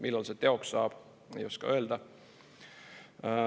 Millal see teoks saab, ei oska öelda.